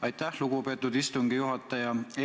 Aitäh, lugupeetud istungi juhataja!